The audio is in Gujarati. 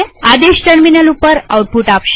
આદેશ ટર્મિનલ ઉપર આઉટપુટ આપશે